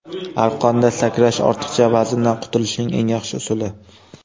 Arqonda sakrash ortiqcha vazndan qutulishning eng yaxshi usuli.